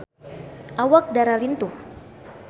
Awak Dara lintuh